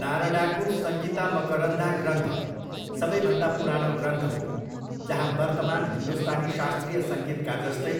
नारडाको सङ्गीता मकरन्धा ग्रन्थ सबैभन्दा पुरानो ग्रन्थ हो जहाँ वर्तमान हिन्दुस्तानी शास्त्रीय सङ्गीतका जस्तै